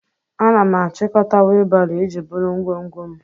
Ana m achịkọta wheelbarrow iji buru ngwongwo m.